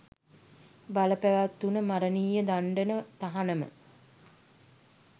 බල පැවැත්වුන මරණීය දණ්ඩන තහනම